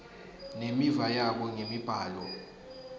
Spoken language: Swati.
nemiva yabo ngemibhalo